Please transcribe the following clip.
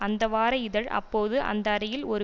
அந்த வார இதழ் அப்போது அந்த அறையில் ஒரு